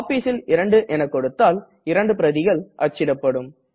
Copiesல் 2 என கொடுத்தால் 2 பிரதிகள் அச்சிடப்படும்